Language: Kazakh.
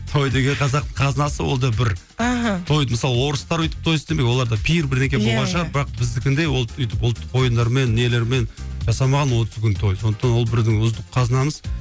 той деген қазақтың қазынасы ол да бір мхм той мысалы орыстар өйтіп той істемеген оларда пир бірдеңке болған шығар бірақ біздікіндей ол өйтіп ұлттық ойындармен нелермен жасамаған сондықтан ол біздің ұлттық қазынамыз